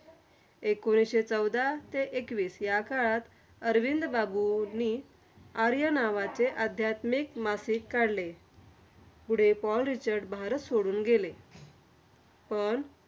एकोणीसशे चौदा ते एकवीस या काळात, अरविंद बाबूंनी आर्य नावाचे आध्यात्मिक मासिक काढले. पुढे पॉल रिचर्ड भारत सोडून गेले. पण